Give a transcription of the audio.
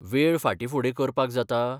वेळ फाटींफुडें करपाक जाता?